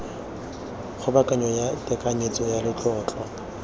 kgobokanyo ya tekanyetso ya letlotlo